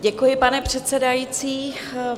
Děkuji, pane předsedající.